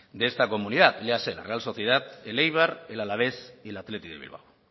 de esta comunidad léase la real sociedad el eibar el alavés y el athletic de bilbao